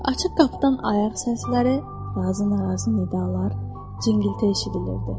Açıq qapıdan ayaq səsləri, razı-narazı nidalalar, cingiltə eşidilirdi.